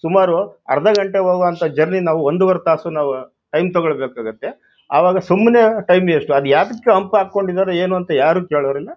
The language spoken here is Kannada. ಸುಮಾರು ಅರ್ಧ ಗಂಟೆ ಹೋಗೊ ಅಂತಾ ಜರ್ನಿ ನಾವೂ ಒಂದೂವರೆ ತಾಸು ನಾವೂ ಟೈಂ ತಕೋಬೇಕಾಗುತ್ತೆಆವಾಗ ಸುಮ್ಮನೆ ಟೈಂ ವೇಸ್ಟ್ ಅದಕ್ಕೆ ಹಂಪ್ ಹಾಕೊಂಡಿದ್ದಾರೆ ಏನು ಅಂತಾ ಯಾರು ಕೇಳ್ಳೋರಿಲ್ಲಾ.